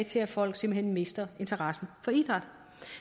til at folk simpelt hen mister interessen for idræt